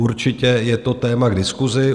Určitě je to téma k diskusi.